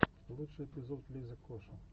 лучший эпизод лиза коши